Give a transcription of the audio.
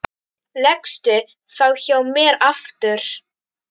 Leggstu þá hjá mér aftur.